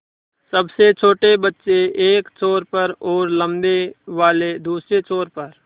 सबसे छोटे बच्चे एक छोर पर और लम्बे वाले दूसरे छोर पर